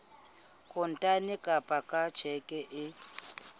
kontane kapa ka tjheke e